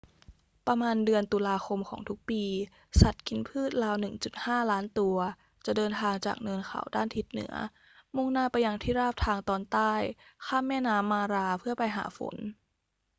ประมาณเดือนตุลาคมของทุกปี สัตว์กินพืชราว 1.5 ล้านตัวจะเดินทางจากเนินเขาด้านทิศเหนือมุ่งหน้าไปยังที่ราบทางตอนใต้ ข้ามแม่น้ำมาราเพื่อไปหาฝน